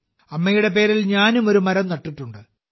അമ്മയുടെ പേരിൽ ഞാനും ഒരു മരം നട്ടിട്ടുണ്ട്